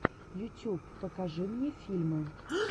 ютюб покажи мне фильмы